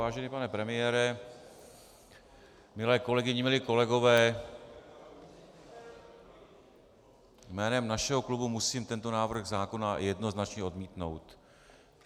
Vážený pane premiére, milé kolegyně, milí kolegové, jménem našeho klubu musím tento návrh zákona jednoznačně odmítnout.